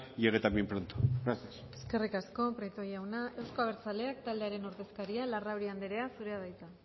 llegue también pronto gracias eskerrik asko prieto jauna euzko abertzaleak taldearen ordezkaria larrauri anderea zurea da hitza